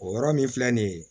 O yɔrɔ min filɛ nin ye